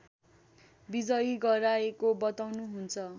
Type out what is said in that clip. विजयी गराएको बताउनुहुन्छ